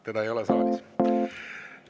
Teda ei ole saalis.